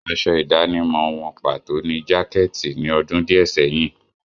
Aṣọ ìdánimọ̀ wọn pàtó ni jákẹ́ẹ̀tì ni ọdún díẹ̀ sẹ́yìn.